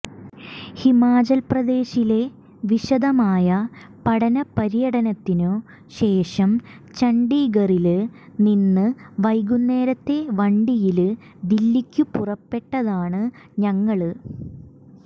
ഹിമാചല്പ്രദേശിലെ വിശദമായ പഠനപര്യടനത്തിനു ശേഷം ചണ്ഡീഗറില് നിന്ന് വൈകുന്നേരത്തെ വണ്ടിയില് ദില്ലിക്കു പുറപ്പെട്ടതാണ് ഞങ്ങള്